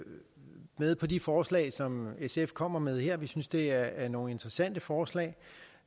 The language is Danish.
med på de forslag som sf kommer med her vi synes det er nogle interessante forslag